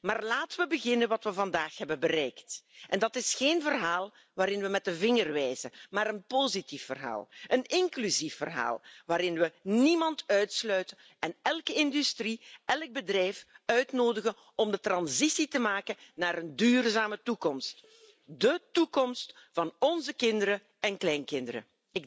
Maar laten we beginnen met wat we vandaag hebben bereikt en dat is geen verhaal waarin we met de vinger wijzen, maar een positief verhaal, een inclusief verhaal waarin we niemand uitsluiten en elke industrie, elk bedrijf uitnodigen om de transitie te maken naar een duurzame toekomst. De toekomst van onze kinderen en kleinkinderen.